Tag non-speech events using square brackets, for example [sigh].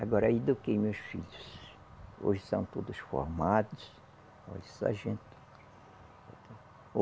Agora eu eduquei meus filhos, hoje são todos formados, hoje só a gente. [unintelligible]